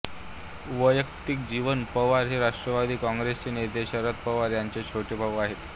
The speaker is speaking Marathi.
वैयक्तिक जीवन पवार हे राष्ट्रवादी कॉंग्रेसचे नेते शरद पवार यांचे छोटे भाऊ आहेत